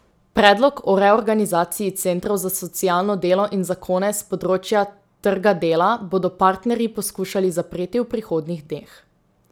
Predlog o reorganizaciji centrov za socialno delo in zakone s področja trga dela bodo partnerji poskušali zapreti v prihodnjih dneh.